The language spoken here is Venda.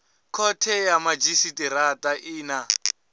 khothe ya madzhisitirata i na